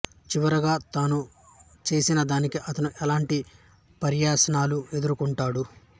చివరిగా తాను చేసిన దానికి అతను ఎలాంటి పర్యవసానాలు ఎదుర్కొంటాడు